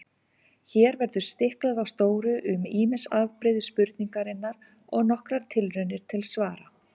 Hér verður stiklað á stóru um ýmis afbrigði spurningarinnar og nokkrar tilraunir til svara.